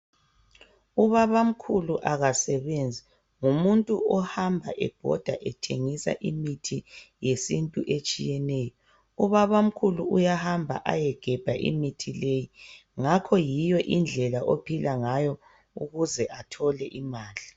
Ubabamkhulu akasebenzi ngumuntu ohamaba ebhoda ethengisa imithi yesintu etshiyeneyo ubabamkhulu uyahamba ayegebha imithi leyi ngakho yiyo indlela ophilangayo ukuze athole imali